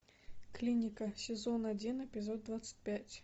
клиника сезон один эпизод двадцать пять